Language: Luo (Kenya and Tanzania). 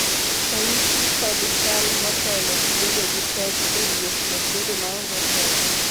ranyisi kod chal motelo gi bedo gi pek ewuoth kod bedo maonge teko